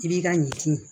I b'i ka ɲin